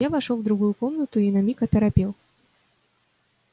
я вошёл в другую комнату и на миг оторопел